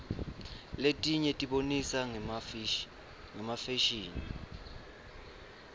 letinye tibonisa ngefasihni